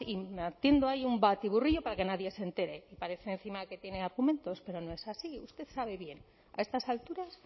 y ahí un batiburrillo para que nadie se entere parece encima que tiene argumentos pero no es así usted sabe bien a estas alturas